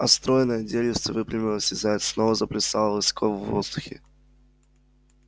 а стройное деревце выпрямилось и заяц снова заплясал высоко в воздухе